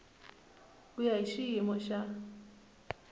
ku ya hi xiyimo xa